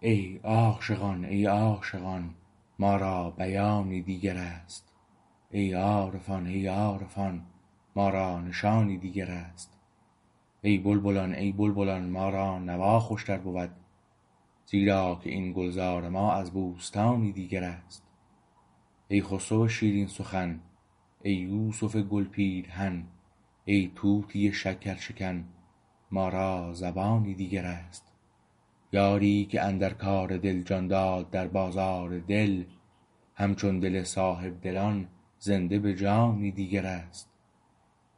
ای عاشقان ای عاشقان ما را بیانی دیگر است ای عارفان ای عارفان ما را نشانی دیگر است ای بلبلان ای بلبلان ما را نوا خوشتر بود زیرا که این گلزار ما از بوستانی دیگر است ای خسروشیرین سخن ای یوسف گل پیرهن ای طوطی شکرشکن ما را زبانی دیگر است یاری که اندرکار دل جان داد در بازار دل همچون دل صاحبدلان زنده به جانی دیگر است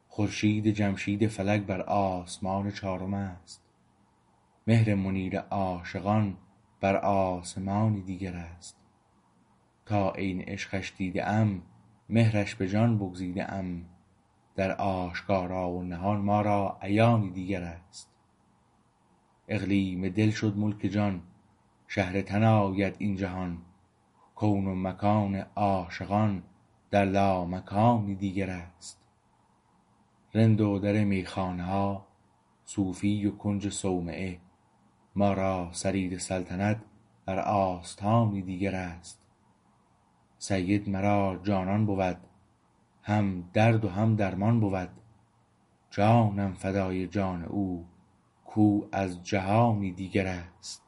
خورشیدجمشید فلک بر آسمان چارم است مهر منیر عاشقان بر آسمانی دیگر است تا عین عشقش دیده ام مهرش به جان بگزیده ام در آشکارا و نهان ما را عیانی دیگر است اقلیم دل شد ملک جان شهر تن آید این جهان کون و مکان عاشقان در لامکانی دیگر است رند و در میخانه ها صوفی و کنج صومعه مارا سریر سلطنت برآستانی دیگر است سیدمرا جانان بود هم دردو هم درمان بود جانم فدای جان او کو از جهانی دیگر است